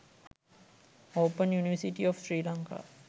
open university of sri lanka